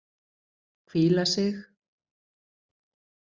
Hvíla sig.